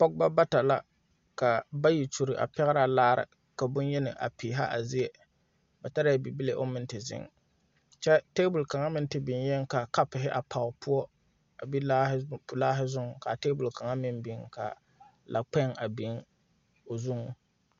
Pogebɔ bata la ka bayi kyule a pɛgrɛ laare ka bonyeni a peehɛ a zie ba tarɛɛ bibile oŋ meŋ te zeŋ kyɛ tabol kaŋa meŋ te biŋeeŋ kaa kapuhi a pare poɔ be laahi zuŋ kaa tabol kaŋa maŋ biŋ ka lakpēŋ a biŋ o zuŋ.